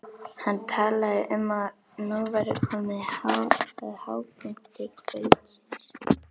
Hann talaði um að nú væri komið að hápunkti kvöldsins.